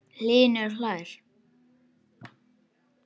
Hlynur hlær.